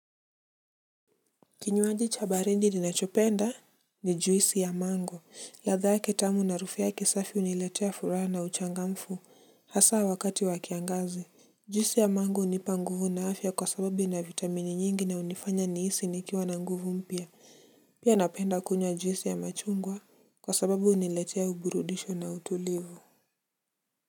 Kinywaji cha baridi ninachopenda ni juisi ya mango ladha yake tamu na harufu yake safi huniletea furaha na uchangamfu hasa wakati wa kiangazi. Juisi ya mango hunipa nguvu na afya kwa sababu ina vitamini nyingi na hunifanya nihisi nikiwa na nguvu mpya. Pia napenda kunywa juisi ya machungwa kwa sababu huniletea uburudisho na utulivu.